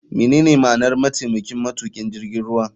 Menene ma'anar mataimakin matukin jirgin ruwa.